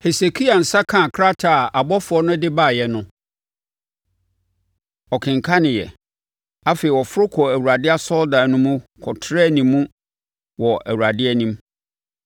Hesekia nsa kaa krataa a abɔfoɔ no de baeɛ no, ɔkenkaneeɛ. Afei ɔforo kɔɔ Awurade asɔredan no mu kɔtrɛɛ mu wɔ Awurade anim.